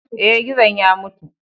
Eh, gizon ya mutu.